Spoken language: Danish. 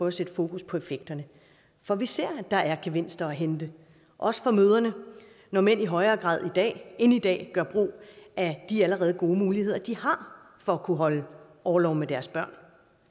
at sætte fokus på effekterne for vi ser at der er gevinster at hente også for mødrene når mænd i højere grad end i dag gør brug af de allerede gode muligheder de har for at kunne holde orlov med deres børn